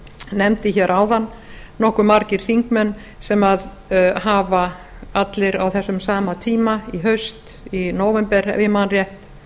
nefndi hér áðan nokkuð margir þingmenn sem hafa allir á þessum sama tíma í haust í nóvember ef ég man rétt